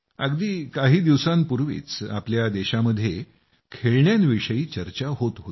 अगदी काही दिवसांपूर्वीच आपल्या देशामध्ये खेळण्यांविषयी चर्चा होत होती